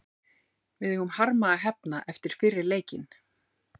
Við eigum harma að hefna eftir fyrri leikinn.